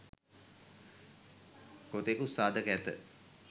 කොතෙකුත් සාධක ඇත.